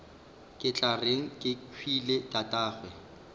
ke tla reng kehwile tatagwe